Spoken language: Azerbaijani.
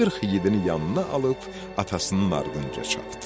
40 igidini yanına alıb atasının ardınca çapdı.